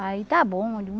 Aí está bom.